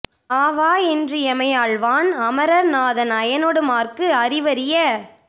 ஆவா என்று எமை ஆள்வான் அமரர் நாதன் அயனொடு மாற்கு அறிவரிய